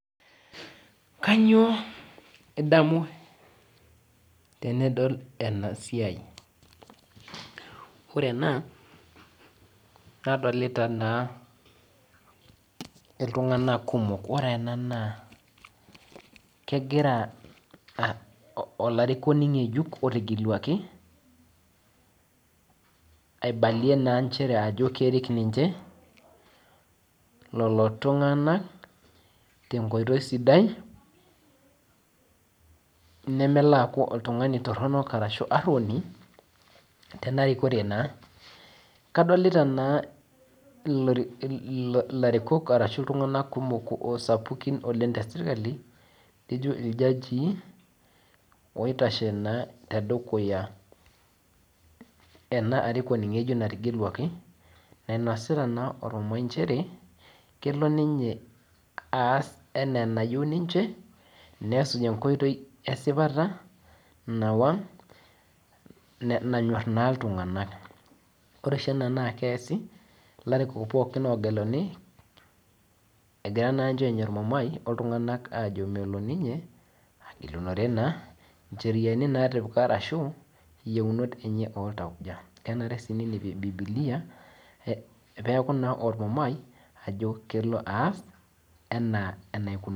Kanyio idamu tenidol enasia ore ena nadolta naa ltung'anak kumol ore ena na kegira olarikoni ngejuk aibalie nchere ajo Kerik ninche loltung'anak tenkoitoi sidai nemelo aakuba uoni terikore kadolta ilarikok ashu ltung'anak sapukin teserkali lijo iljajii oitashe tedukuya enaarikono ng'ejuk nategeluaki nainasita ormumai nchere kelo ninye aas enaa enayieu nimche nesuj enkoitoi esipata nanyor na ltung'anak ore oshi ena na keas ilarikok pooki ogeluni egira na ninche anya ormumai oltunga'nak ajo melo ninye agilunore yiounot enye oltauja kenare nailepie bibilia peaku ormumai peaku kelo aas.